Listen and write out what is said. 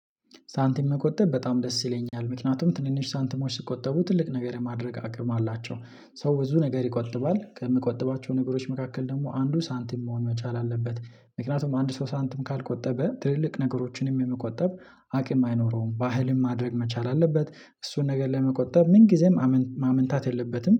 ሳንቲም መቆጠብ በጣም ደስ ይለኛል ምክንያቱም ትንንሽ ሳንቲሞች ሲቆጠቡ ትልቅ ነገር የማድረግ አቅም አላቸው ሰው ብዙ ነገር ይቆጥባል ከሚቆጥባቸው ነገሮች መካከል ደግሞ አንዱ ሳንቲም መሆን መቻል አለበት። ምክንያቱም አንድ ሰው ሳንቲም ካልቆጠበ ትልልቅ ነገሮችንም የመቆጠብ አቅም አይኖረውም ባህልም ማድረግ መቻል አለበት እሱን ነገር ለመቆጠብ ምን ጊዜም ማመንታት የለበትም